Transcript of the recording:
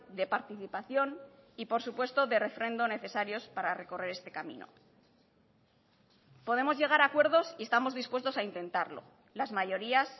de participación y por supuesto de refrendo necesarios para recorrer este camino podemos llegar a acuerdos y estamos dispuestos a intentarlo las mayorías